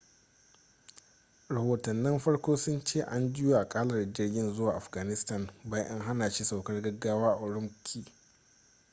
rahotannin farko sun ce an juya akalar jirgin zuwa afghanistan bayan an hana shi saukar gaggawa a ürümqi